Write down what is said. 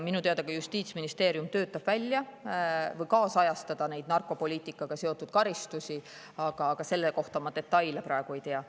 Minu teada Justiitsministeerium töötab välja või kaasajastab narkopoliitikaga seotud karistusi, aga selle kohta detaile ma praegu ei tea.